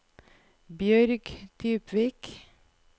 Bjørg Dybvik